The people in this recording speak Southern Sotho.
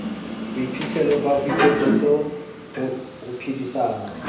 bophihlelo ba boiketsetso ho phedisana